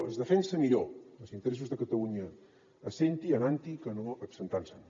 que es defensen millor els interessos de catalunya essent hi anant hi que no absentant se’n